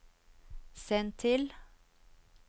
send til